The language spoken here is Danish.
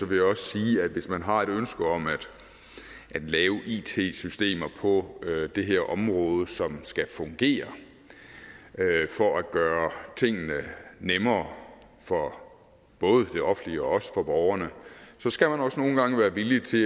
vil jeg også sige at hvis man har et ønske om at lave it systemer på det her område som skal fungere for at gøre tingene nemmere for både det offentlige og borgerne skal man også nogle gange være villig til